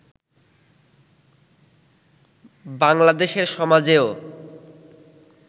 বাংলাদেশের সমাজেও